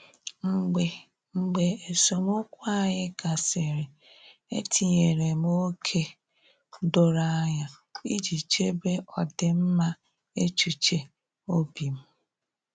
Mgbe Mgbe esemokwu anyị gasịrị, etinyere m ókè doro anya iji chebe ọdịmma echuche obim